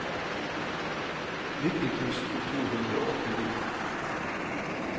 nitti tusen to hundre og åttini